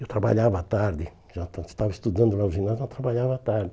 Eu trabalhava à tarde, já estava estudando lá no ginásio, eu trabalhava à tarde.